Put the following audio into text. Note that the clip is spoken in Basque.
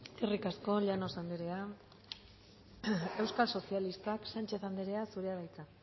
eskerrik asko llanos anderea euskal sozialistak sánchez anderea zurea da hitza